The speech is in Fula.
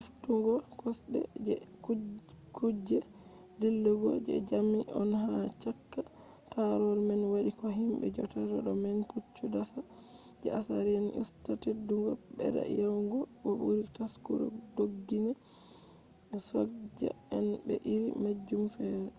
heftugo kosde je kuge dillugo je jamdi on ha chaka tarol man wadi ko himbe jodata do man puccu dasa je assyrian usta teddugo bedda yawugo bo buri taskugo doggina soja en be iri majum fere